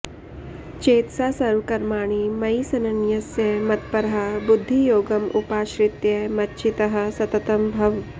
चेतसा सर्वकर्माणि मयि सन्न्यस्य मत्परः बुद्धियोगम् उपाश्रित्य मच्चित्तः सततं भव